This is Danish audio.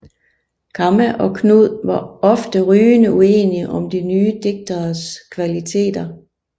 Kamma og Knud var ofte rygende uenige om de nye digteres kvaliteter